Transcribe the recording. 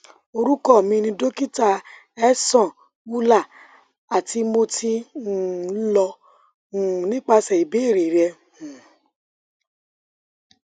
orukọ mi ni dokita ehsan ullah ati mo ti um lọ um nipasẹ ibeere rẹ um